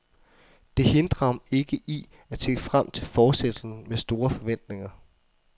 Det hindrer ham ikke i at se frem til fortsættelsen med store forventninger.